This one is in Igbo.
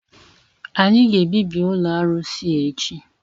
Anyị ga-ebibi ụlọ arụsị a echi!